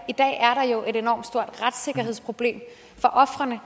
i dag er der jo et enormt stort retssikkerhedsproblem for ofrene